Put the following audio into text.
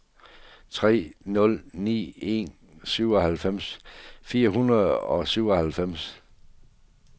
tre nul ni en syvoghalvfems fire hundrede og syvoghalvfems